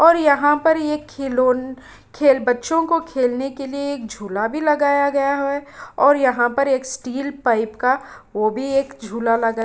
और यहाँ पर ये खिलौन खेल बच्चों को खेलने के लिए एक झोला भी लगाया गया है और यहाँ पर एक स्टील पाइप का वो भी एक झूला लगा --